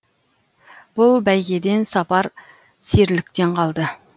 бұл бәйгеден сапар серіліктен қалды